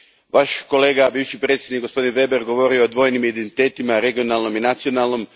Vaš kolega, bivši predsjednik, gospodin Weber govorio je o dvojnim identitetima, regionalnom i nacionalnom.